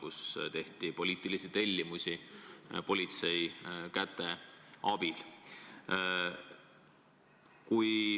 Seal täideti poliitilisi tellimusi politsei käte abil.